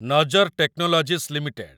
ନଜର technologies limited